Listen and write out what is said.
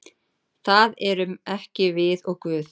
Það erum ekki við og Guð.